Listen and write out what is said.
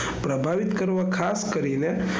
પ્રભાવિત કરવા ખાસ કરીને,